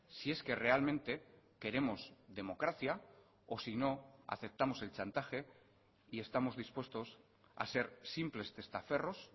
si es que realmente queremos democracia o si no aceptamos el chantaje y estamos dispuestos a ser simples testaferros